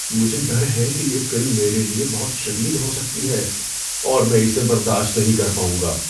مجھے ڈر ہے کہ یہ فلم میرے لیے بہت شدید ہو سکتی ہے اور میں اسے برداشت نہیں کر پاؤں گا۔